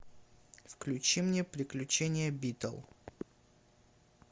включи мне приключения битл